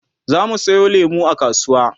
zamu Sayo lemu a kasuwa